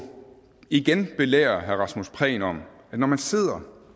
igen belære herre rasmus prehn om at når man sidder